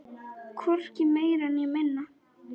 Hvorki meira né minna!